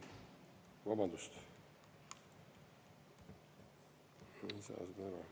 Vabandust!